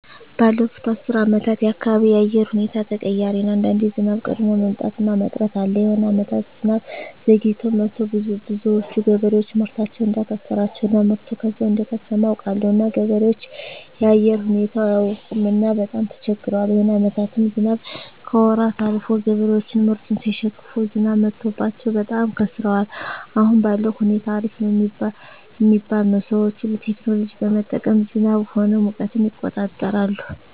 ባለፋት አስር አመታት የአካባቢው የአየር ሁኔታዎች ተቀያሪ ነው አንዳንዴ ዝናብ ቀድሞ መምጣት እና መቅረት አለ የሆነ አመታት ዝናብ ዘግይቶ መጥቱ ብዙዎች ገበሬዎች ምርታቸውን እዳከሰራቸው እና ምርቱ ከዛው እደከሰመ አውቃለሁ እና ገበሬዎች የአየር ሁኔታው አያውቅምና በጣም ተቸግረዋል የሆነ አመታትም ዝናብ ከወራት አልፎ ገበሬዎች ምርቱን ሳይሸክፋ ዝናብ መትቶባቸው በጣም ከስረዋል አሁን ባለዉ ሁኔታ አሪፍ ነው ሚባል ነው ሰዎች ሁሉ ቴክኖሎጂ በመጠቀም ዝናብ ሆነ ሙቀትን ይቆጠራል